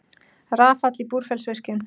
Rafall í Búrfellsvirkjun.